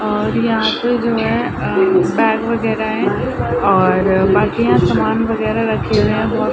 और यहाँ पे जो है अ बैग वगेरह है और बाकियाँ यहाँ सामान वगेरह रखे हुए हैं बहोत --